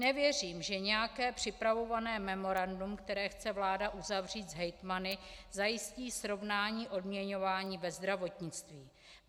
Nevěřím, že nějaké připravované memorandum, které chce vláda uzavřít s hejtmany, zajistí srovnání odměňování ve zdravotnictví.